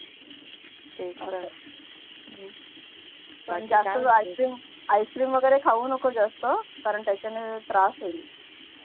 ice cream वगैरे खाऊ नको जास्त कारण त्याच्यान त्रास होईल